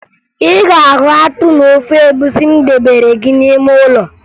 Ị ga-ahụ akpụ na ofe egwusi m debere gị n'ime ụlọ